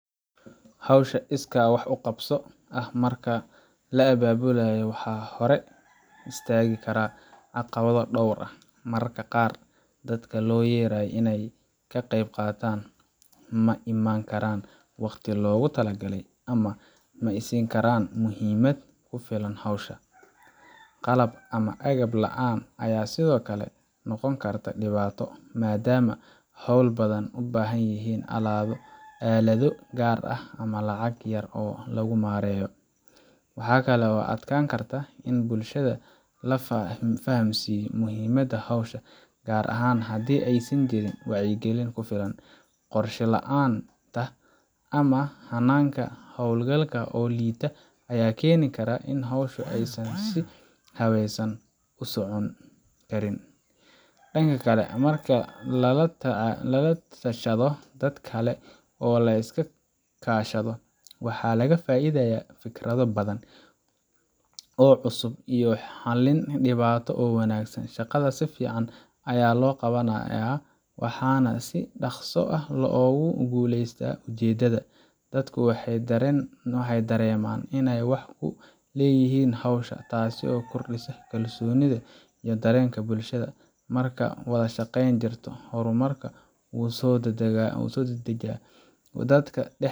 Hawsha iskaa wax u qabso ah marka la abaabulayo, waxaa hore istaagi kara caqabado dhowr ah. Mararka qaar dadka loo yeeray inay ka qaybqaataan ma imaan karaan waqtiga loogu talagalay ama ma siin karaan muhiimad ku filan hawsha. Qalab ama agab la’aan ayaa sidoo kale noqon karta dhibaato, maadaama hawlo badan u baahan yihiin aalado gaar ah ama lacag yar oo lagu maareeyo. Waxaa kale oo adkaan karta in bulshada la fahamsiiyo muhiimadda hawsha, gaar ahaan haddii aysan jirin wacyigelin ku filan. Qorshe la’aanta ama hannaanka hawlgalka oo liita ayaa keeni kara in hawshu aysan si habeysan u socon karin. Dhanka kale, marka la la tashado dad kale oo la iska kaashado, waxaa laga faa’iidayaa fikrado badan oo cusub iyo xallin dhibaato oo wanaagsan. Shaqada si fiican ayaa loo qaybanaya, waxaana si dhakhso ah loogu guuleystaa ujeeddada. Dadku waxay dareemaan inay wax ku leeyihiin hawsha, taasoo kordhisa kalsoonida iyo dareenka bulshada. Marka wada shaqayn jirto, horumarka wuu soo dadaajaa, dadka.